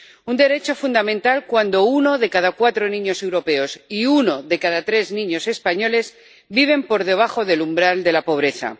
Un derecho fundamental, cuando uno de cada cuatro niños europeos y uno de cada tres niños españoles viven por debajo del umbral de la pobreza.